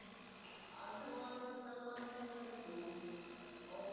आलती भो आता करा लागीन phone. आता पाहु